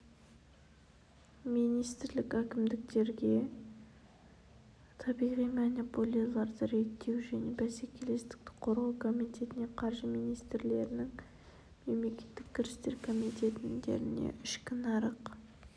министрлік әкімдіктерге табиғи монополияларды реттеу және бәсекелестікті қорғау комитетіне қаржы министрлігінің мемлекеттік кірістер комитетіне ішкі нарық